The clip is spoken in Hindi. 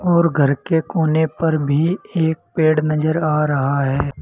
और घर के कोने पर भी एक पेड़ नजर आ रहा है।